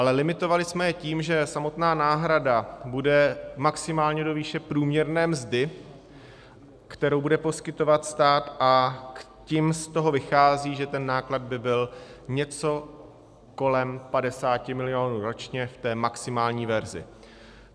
Ale limitovali jsme je tím, že samotná náhrada bude maximálně do výše průměrné mzdy, kterou bude poskytovat stát, a tím z toho vychází, že ten náklad by byl něco kolem 50 milionů ročně v té maximální verzi.